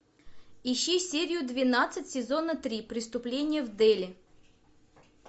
ищи серию двенадцать сезона три преступление в дели